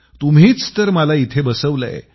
तुम्हीच तर मला इथं बसवलंय